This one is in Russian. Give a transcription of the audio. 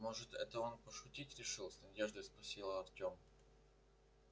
может это он пошутить решил с надеждой спросил артем